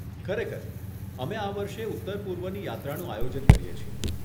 ખરેખર, અમે આ વર્ષે ઉત્તરપૂર્વની યાત્રાનું આયોજન કરીએ છીએ.